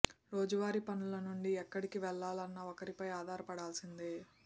రోజు వారి పనుల నుండి ఎక్కడికి వెళ్ళాలన్నా ఒకరిపై ఆధారపడాల్సిందే